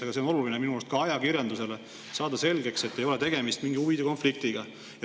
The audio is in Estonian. Aga see on oluline minu arust ka ajakirjandusele, et saada selgeks, et ei ole tegemist mingi huvide konfliktiga.